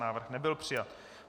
Návrh nebyl přijat.